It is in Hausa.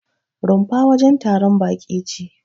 Rumfa wajen taron baƙi ce.